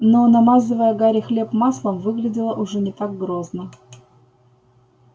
но намазывая гарри хлеб маслом выглядела уже не так грозно